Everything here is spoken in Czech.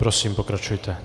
Prosím, pokračujte.